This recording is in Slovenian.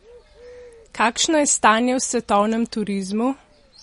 Kakšno je stanje v svetovnem turizmu?